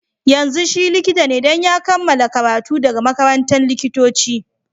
Yanzun shi Likita ne, dan ya kamala karatu daga makarantan likitoci.